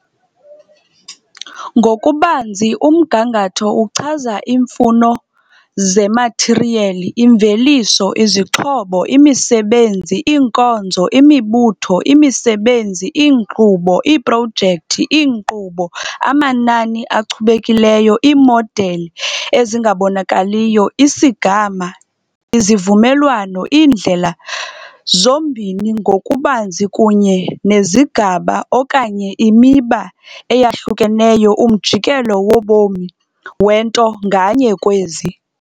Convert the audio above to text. Ngokubanzi, umgangatho uchaza iimfuno zemathiriyeli, imveliso, izixhobo, imisebenzi, iinkonzo, imibutho, imisebenzi, iinkqubo, iiprojekthi, iinkqubo, amanani achubekileyo, iimodeli ezingabonakaliyo, isigama, izivumelwano, iindlela, zombini ngokubanzi kunye nezigaba okanye imiba eyahlukeneyo umjikelo wobomi wento nganye kwezi.